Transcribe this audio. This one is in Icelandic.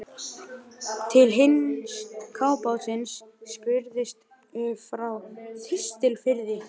Til hins kafbátsins spurðist frá Þistilfirði.